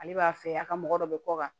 Ale b'a fɛ a ka mɔgɔ dɔ bɛ kɔ kan